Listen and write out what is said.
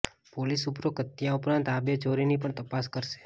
police ઉપરોકત હત્યા ઉપરાંત આ બે ચોરીની પણ તપાસ કરશે